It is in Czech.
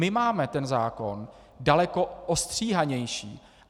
My máme ten zákon daleko ostříhanější.